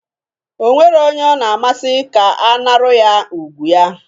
O nwero onye ọ na-amasi ka anaru ya ùgwù ya.